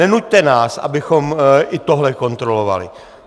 Nenuťte nás, abychom i tohle kontrolovali.